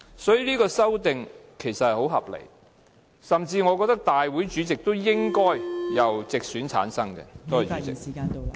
所以，這項修訂其實很合理，我甚至覺得大會主席都應該......由直選產生。